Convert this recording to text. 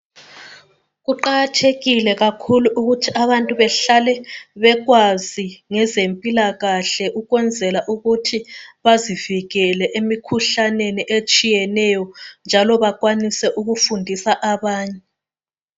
Kuqakathekile kakhulu ukuthi abantu behlale bekwazi ngezempilakahle ukwezela ukuthi bazivikele emikhuhlaneni etshiyeneyo njalo bakwanise ukufundisa abanye.